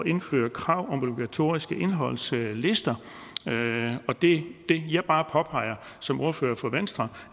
indføre krav om obligatoriske indholdslister det jeg bare påpeger som ordfører for venstre